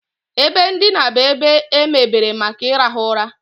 Ebe ndina bụ ebe emebere maka ịrahụ ụra.